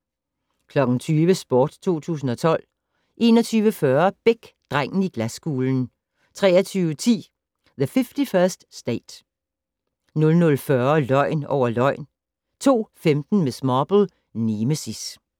20:00: Sport 2012 21:40: Beck - Drengen i glaskuglen 23:10: The 51st State 00:40: Løgn over løgn 02:15: Miss Marple: Nemesis